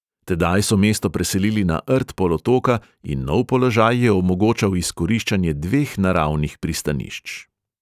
Tedaj so mesto preselili na rt polotoka in nov položaj je omogočal izkoriščanje dveh naravnih pristanišč.